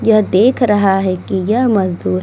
यह देख रहा है की यह मजदूर --